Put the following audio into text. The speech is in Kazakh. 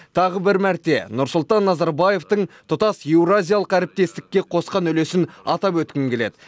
тағы бір мәрте нұрсұлтан назарбаевтың тұтас еуразиялық әріптестікке қосқан үлесін атап өткім келеді